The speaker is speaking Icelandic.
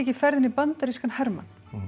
í ferðinni bandarískan hermann